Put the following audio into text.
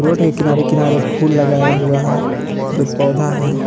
Road के किनारे किनारे फूल लगाया हुआ है जो पौधा है।